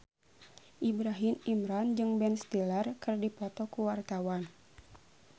Ibrahim Imran jeung Ben Stiller keur dipoto ku wartawan